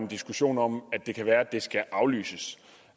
diskussion om at det kan være det skal aflyses